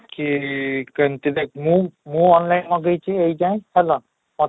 କି କେମିତି ଦେଖ ମୁଁ ମୁଁ online ମଗେଇଛି ଏଇ ଯାଏଁ ହେଲା ତୋତେ